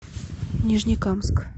нижнекамск